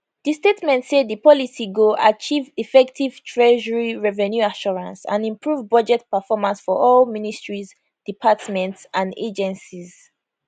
di statement say di policy go achieve effective treasury revenue assurance and improve budget performance for all ministries departments and agencies